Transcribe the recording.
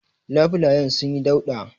Labulayen sunyi dauɗa.